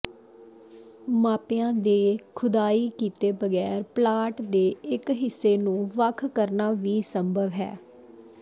ਮਾਪਿਆਂ ਦੇ ਖੁਦਾਈ ਕੀਤੇ ਬਗੈਰ ਪਲਾਟ ਦੇ ਇਕ ਹਿੱਸੇ ਨੂੰ ਵੱਖ ਕਰਨਾ ਵੀ ਸੰਭਵ ਹੈ